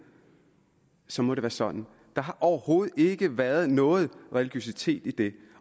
så må det være sådan der har overhovedet ikke været noget religiøsitet i det